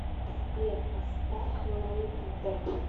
сбер поставь лэйд бэк